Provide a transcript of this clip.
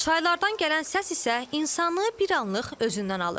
Çaylardan gələn səs isə insanı bir anlıq özündən alır.